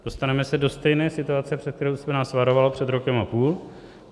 Dostaneme se do stejné situace, před kterou jste nás varoval před rokem a půl.